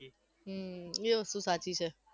હમ એ વસ્તુ સાચી છે